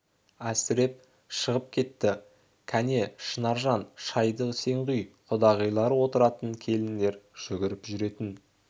әсіреп шығып кетті кәне шынаржан шайды сен құй құдағилар отыратын келіндер жүгіріп жүретін